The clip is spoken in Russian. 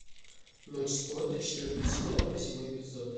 ночь спорта четвертый сезон восьмой эпизод